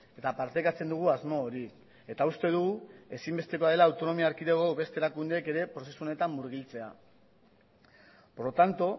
eta partekatzen dugu asmo hori eta uste dugu ezinbestekoa dela autonomia erkidego beste erakundeek ere prozesu honetan murgiltzea por lo tanto